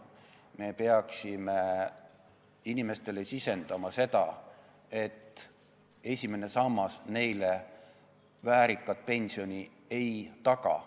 Me peaksime inimestele sisendama, et esimene sammas neile väärikat pensioni ei taga.